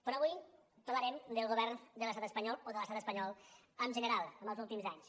però avui parlarem del govern de l’estat espanyol o de l’estat espanyol en general en els últims anys